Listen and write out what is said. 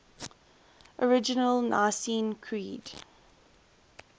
original nicene creed